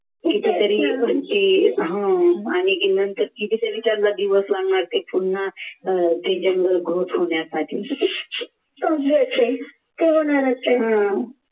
कितीतरी हा आणि मग नंतर ते पुन्हा होण्यासाठी